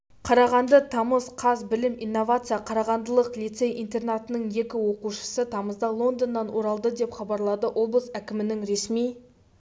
қарағанды тамыз қаз білім-инновация қарағандылық лицей-интернатының екі оқушысы тамызда лондоннан оралды деп хабарлады облыс әкімінің ресми